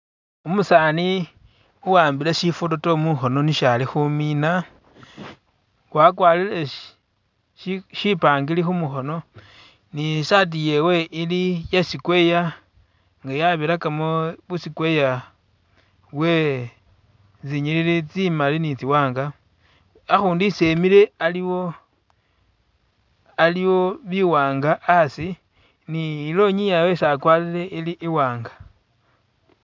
Umusaani uwambile shifototo mukhoono nisho ali khumina wakwalire shi shipangire khumukhoono ni isaati yewe ili iya square nga yabirakamo bu square bwe tsinyilili tsimali ni tsiwaanga, akhundu isi emile aliwo aliwo biwaanga a'asi ni ilonyi yewe isi akwalire ili i'waanga